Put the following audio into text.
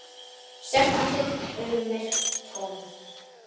Stjarft andlit, augun myrk, tóm.